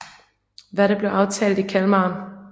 Hvad der blev aftalt i Kalmar